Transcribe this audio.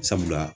Sabula